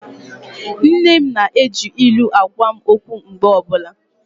Nne m na-eji ilu agwa m okwu mgbe ọbụla.